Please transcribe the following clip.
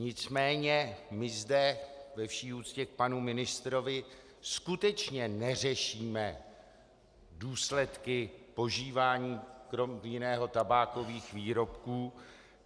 Nicméně my zde ve vší úctě k panu ministrovi skutečně neřešíme důsledky požívání, krom jiného, tabákových výrobků.